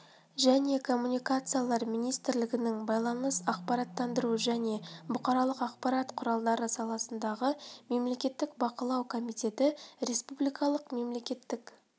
және коммуникациялар министрлігінің байланыс ақпараттандыру және бұқаралық ақпарат құралдары саласындағы мемлекеттік бақылау комитеті республикалық мемлекеттік